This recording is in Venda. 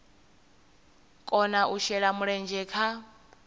kona u shela mulenzhe kha